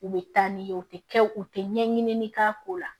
U bɛ taa n'i ye u tɛ kɛ u tɛ ɲɛɲini k'a ko la